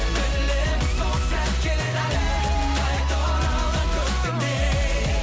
білемін сол сәт келеді әлі қайта оралған көктемдей